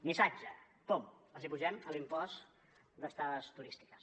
missatge pam els apugem l’impost d’estades turístiques